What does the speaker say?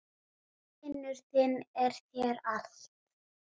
Vinur þinn er þér allt.